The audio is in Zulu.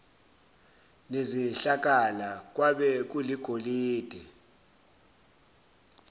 nezihlakala kwabe kuligolide